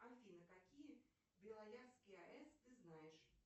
афина какие белоярские ас ты знаешь